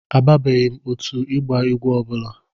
Abanyebeghị m otu ịgba egwu ọ bụla.